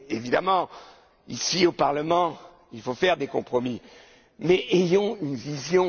compromis. Évidemment, ici, au Parlement, il faut faire des compromis, mais ayons une